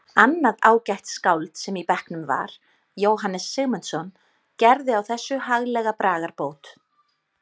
Annað ágætt skáld sem í bekknum var, Jóhannes Sigmundsson, gerði á þessu haglega bragarbót